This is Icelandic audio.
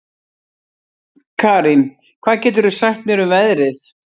Karín, hvað geturðu sagt mér um veðrið?